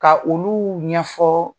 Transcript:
Ka olu ɲɛfɔ